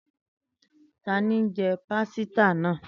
tani njẹ pasita naa?